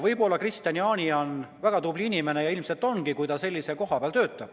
Võib-olla Kristian Jaani on väga tubli inimene ja ilmselt ongi, kui ta sellise koha peal töötab.